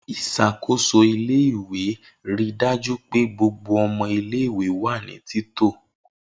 Isakoso ile-iwe rii daju pe gbogbo ọmọ ile-iwe wa ni tito.